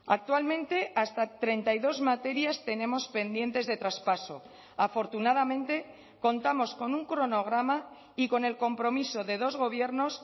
actualmente hasta treinta y dos materias tenemos pendientes de traspaso afortunadamente contamos con un cronograma y con el compromiso de dos gobiernos